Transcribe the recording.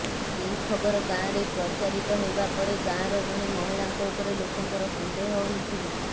ଏହି ଖବର ଗାଁରେ ପ୍ରଚାରିତ ହେବା ପରେ ଗାଁର ଜଣେ ମହିଳାଙ୍କ ଉପରେ ଲୋକଙ୍କର ସନ୍ଦେହ ହୋଇଥିଲା